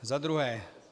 Za druhé.